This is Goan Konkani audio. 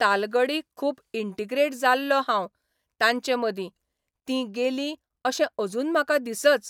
तालगडी खूब इंटिग्रेट जाल्लों हांव तांचे मदीं तीं गेलीं अशें अजून म्हाका दिसच